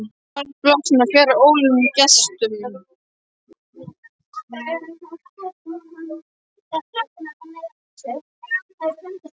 Nálægt bálkestinum og fjarri óvelkomnum gestum.